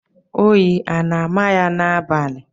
Oyi a na-ámà ya n'abalị?